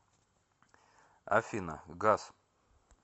афина гас